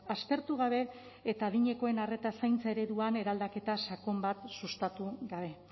aztertu gabe eta adinekoen arreta zaintza ereduan eraldaketa sakon bat sustatu gabe